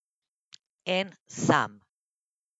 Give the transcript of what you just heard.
En sam.